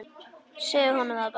Segðu honum það bara!